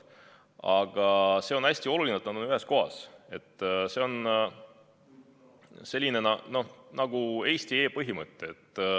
Aga see on hästi oluline, et need on ühes kohas, nagu e-Eesti põhimõttel.